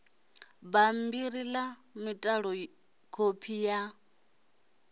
bambiri la mitalo kopi ya